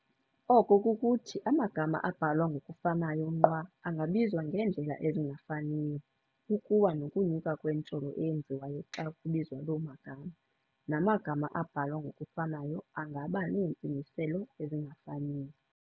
Oko kukuthi amagama abhalwa ngokufanayo nqwa angabizwa ngeendlela ezingafaniyo, ukuwa nokunyuka kwentsholo eyenziwayo xa kubizwa lo magama, namagama abhalwa ngokufanayo angaba neentsingiselo ezingafaniyo.